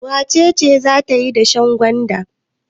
Wace ce za ta yi dashen gwanda?